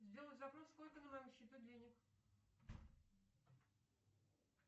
сделай запрос сколько на моем счету денег